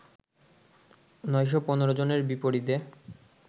৯১৫ জনের বিপরীতে